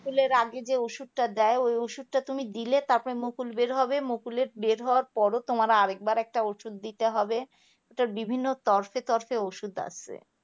মুকুলের আগে যে ওষুধটা দেয় ওই ওষুধটা তুমি বের হবে মুকুলের বের হওয়ার পরে তোমার তো আরেকবার একটা ওষুধ দিতে হবে ওটার বিভিন্ন তরসে তরসে ওষুধ আছে